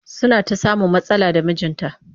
Suna ta samun matsala da mijinta